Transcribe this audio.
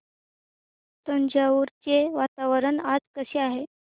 तंजावुर चे वातावरण आज कसे आहे